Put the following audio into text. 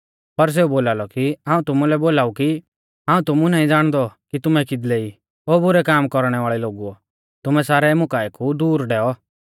पर सेऊ बोलालौ कि हाऊं तुमुलै बोलाऊ कि हाऊं तुमु नाईं ज़ाणदौ कि तुमै किदले ई ओ बुरै काम कौरणै वाल़ै लोगुओ तुमै सारै मुकाऐ कु दूर डैऔ